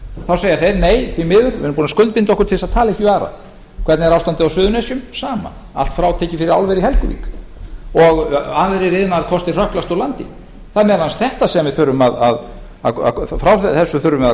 þá segja þeir nei því miður við erum búnir að skuldbinda okkur til að tala ekki við aðra hvernig er ástandið á suðurnesjum það sama allt frátekið fyrir álver í helguvík og aðrir iðnaðarkostir hrökklast úr landi frá þessu þurfum við að